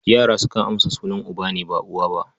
Yara sukan amsa sunan uba ne, ba uwa ba.